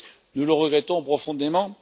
Nous le regrettons profondément.